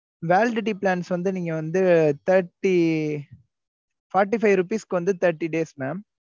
validity plans வந்து நீங்க வந்து thirty forty five rupees க்கு வந்து thirty days mam